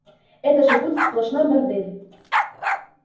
это же будет сплошной бордель